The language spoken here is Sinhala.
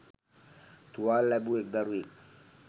තුවාල ලැබූ එක්‌ දරුවෙක්